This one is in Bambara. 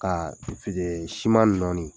Kaa fidee siman nɔɔni